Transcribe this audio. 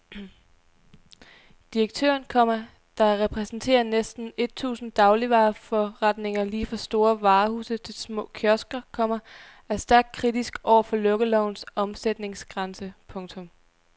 Direktøren, komma der repræsenterer næsten et tusind dagligvareforretninger lige fra store varehuse til små kiosker, komma er stærkt kritisk over for lukkelovens omsætningsgrænse. punktum